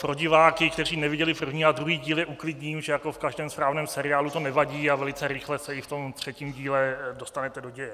Pro diváky, kteří neviděli první a druhý díl, je uklidním, že jako v každém správném seriálu to nevadí a velice rychle se i v tom třetím díle dostanete do děje.